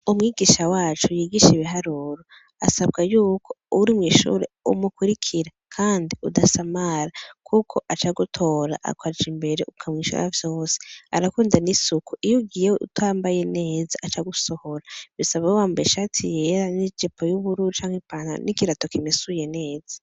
Umwigisha wacu yigisha ibiharuro asabwa yuko uri mwishuri umukurikira udasamara kuko aca agutora ukaja imbere ukavyishura vyose arakunda n'isuku iyo ugiye utambaye neza aca agusohora bisaba ube wambaye ishati yera n'ijipo y'ubururu canke ipantaro n'ikirato kimesuye neza.